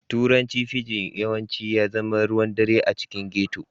Turanci fijin yawanci ya zama ruwan ɗare a cikin ghetto